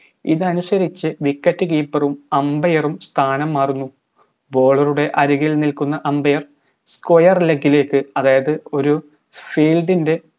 ഇതനുസരിച്ചു wicket keeper ഉം umbair ഉം സ്ഥാനം മാറുന്നു bowler ടെ അരികിൽ നിൽക്കുന്ന umbairsquireleg ലേക്ക് അതായത് ഒരു field ൻറെ